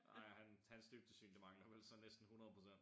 Ej han hans dybdesyn det mangler vel så næsten 100%